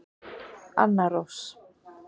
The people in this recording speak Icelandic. Anna Rós.